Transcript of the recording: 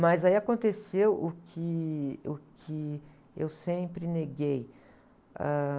Mas aí aconteceu o que, o que eu sempre neguei.